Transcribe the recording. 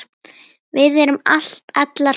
Við erum allar fínar